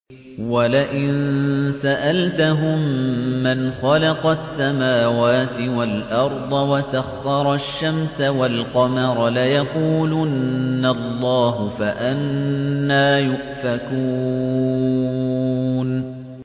وَلَئِن سَأَلْتَهُم مَّنْ خَلَقَ السَّمَاوَاتِ وَالْأَرْضَ وَسَخَّرَ الشَّمْسَ وَالْقَمَرَ لَيَقُولُنَّ اللَّهُ ۖ فَأَنَّىٰ يُؤْفَكُونَ